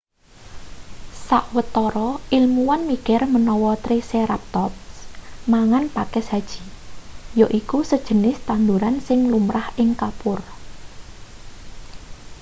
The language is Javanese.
sawetara ilmuwan mikir menawa triceratops mangan pakis haji yaiku sejenis tanduran sing lumrah ing kapur